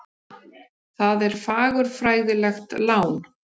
Það er fagurfræðilegt lán.